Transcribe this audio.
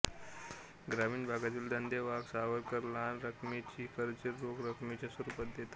ग्रामीण भागातील धंदेवाईक सावकार लहान रकमेची कर्जे रोख रकमेच्या स्वरूपात देतात